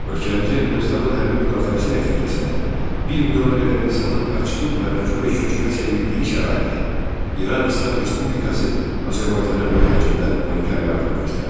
Ölkəmizə Ermənistanın hərbi müdaxiləsi nəticəsində 1 milyona qədər insanın qaçqın və məcburi köçkünə çevrildiyi şəraitdə İran İslam Respublikası Azərbaycana böyük həcmdə humanitar yardım göstərdi.